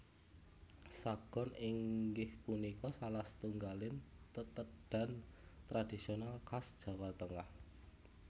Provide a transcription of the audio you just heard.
Sagon inggih punika salah satunggaling tetedhan tradisional khas Jawa Tengah